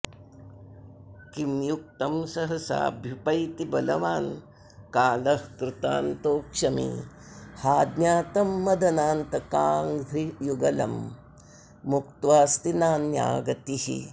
किं युक्तं सहसाभ्युपैति बलवान्कालः कृतान्तोऽक्षमी हा ज्ञातं मदनान्तकाङ्घ्रियुगलं मुक्त्वास्ति नान्या गतिः